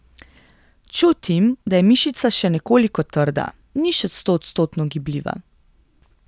Čutim, da je mišica še nekoliko trda, ni še stoodstotno gibljiva.